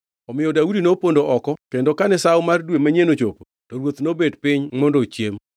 Omiyo Daudi nopondo oko kendo kane Sawo mar Dwe manyien ochopo, to ruoth nobet piny mondo ochiem.